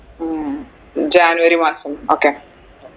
ഉം ജാനുവരി മാസം okay